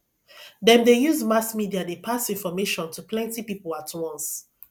dem dey use mass media dey pass information to plenty people at once